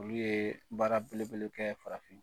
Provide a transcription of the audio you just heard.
Olu ye baara belebele kɛ farafin